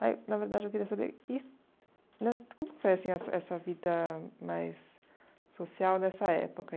Ah na verdade, eu queria saber e né como que foi assim essa essa vida mais social nessa época?